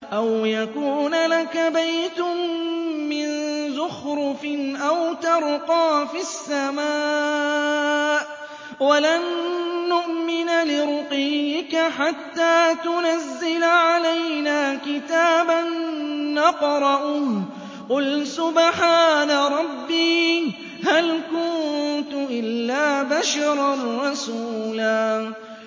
أَوْ يَكُونَ لَكَ بَيْتٌ مِّن زُخْرُفٍ أَوْ تَرْقَىٰ فِي السَّمَاءِ وَلَن نُّؤْمِنَ لِرُقِيِّكَ حَتَّىٰ تُنَزِّلَ عَلَيْنَا كِتَابًا نَّقْرَؤُهُ ۗ قُلْ سُبْحَانَ رَبِّي هَلْ كُنتُ إِلَّا بَشَرًا رَّسُولًا